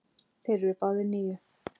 Þeir eru báðir níu.